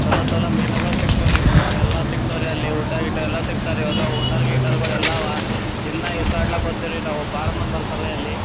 ಚಲೋ ಚಲೋ ಮೀನುಗಳು ಸಿಗ್ತಾವ್ ರೀ ಎಲ್ಲ ಸಿಗ್ತಾವ್ ರೀ ಅಲ್ಲಿ ಊಟ ಗೀಟ ಎಲ್ಲ ಸಿಗ್ತಾವ್ ರೀ ಎಲ್ಲ ಹೋಟೆಲ್ ಗಿಟಲ್ ಗಳೆಲ್ಲ ಅವಾ ದಿನ್ನ ಈಸಾಡಲಿಕ್ ಹೊಗೆರ್ವಿ ನಾವು ಬಹಳ ಮುಂದಿ ಬರ್ತಾರ ಅಲ್ಲಿ.